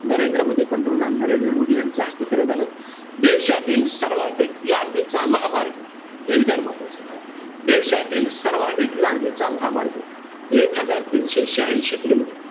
नरेंद्र मोदी, पंतप्रधान नरेंद्र मोदी यांच्या हस्ते करण्यात आलं. देशातील सर्वाधिक लांबीचा महामार्ग हे विधान महत्वाचंय बघा. देशातील सर्वाधिक लांबीचा महामार्ग, एक हजार तीनशे शाह्यांशी kilometer,